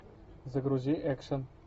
загрузи экшен